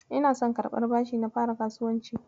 Ina son karɓar bashi na fara kasuwanci.